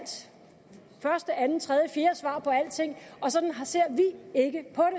første andet tredje fjerde svar på alting og sådan ser vi ikke på